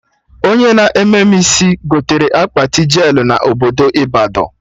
Onye na-eme mụ isi gotere akpati jelụ na obodo Ịbadọ